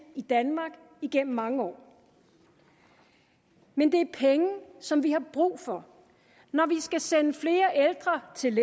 i danmark igennem mange år men det er penge som vi har brug for når vi skal sende flere ældre til